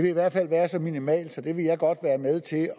i hvert fald været så minimal så jeg vil godt være med til